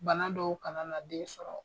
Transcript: Bana dɔw kana na den sɔrɔ.